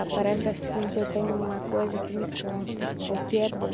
Aparece assim que eu tenho uma coisa que me conta o que é bom.